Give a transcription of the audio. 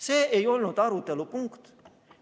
See ei olnud arutelu punkt.